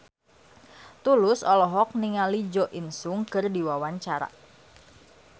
Tulus olohok ningali Jo In Sung keur diwawancara